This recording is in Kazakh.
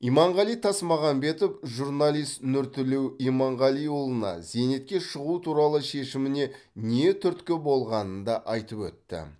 иманғали тасмағамбетов журналист нұртілеу иманғалиұлына зейнетке шығу туралы шешіміне не түрткі болғанын да айтып өтті